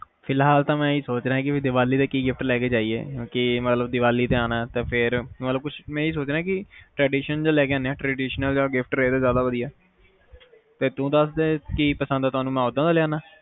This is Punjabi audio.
ਫਿਲਹਾਲ ਤਾ ਮੈਂ ਹੀ ਸੋਚ ਰਿਹਾ ਕ ਦੀਵਾਲੀ ਤੇ ਕਿ gift ਲੈ ਕੇ ਜਾਈਏ ਕਿ ਦੀਵਾਲੀ ਚ ਆਨਾ ਹੈ ਮੈ ਇਹ ਸੋਚ ਰਿਹਾ ਕੁਛ tradition ਜੋ ਲੈ ਕੇ ਆਂਦੇ ਹੈ traditional ਜਾ gift ਰਹੇ ਤਾ ਜ਼ਿਆਦਾ ਵਧੀਆ ਹੈ ਸੀ ਚਲ ਤੂੰ ਦਸਦੇ ਕਿ ਪਸੰਦ ਆ ਤੈਨੂੰ ਮੈਂ ਉਹਦਾ ਦਾ ਲਿਆਂਦਾ ਹਾਂ